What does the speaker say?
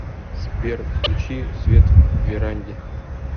сбер включи свет в веранде